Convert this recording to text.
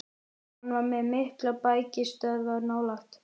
Hann var með miklar bækistöðvar nálægt